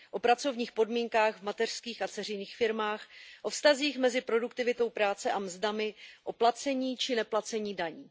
O pracovních podmínkách v mateřských a dceřiných firmách, o vztazích mezi produktivitou práce a mzdami, o placení či neplacení daní.